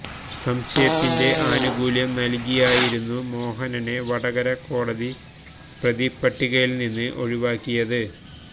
സംശയത്തിന്റെ ആനുകൂല്യം നല്കിയായിരുന്നു മോഹനനെ വടകര കോടതി പ്രതിപ്പട്ടികയില്നിന്ന് ഒഴിവാക്കിയത്